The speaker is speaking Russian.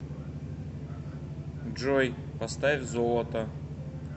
джой поставь золото